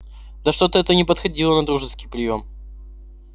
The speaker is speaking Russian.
да что-то это не походило на дружеский приём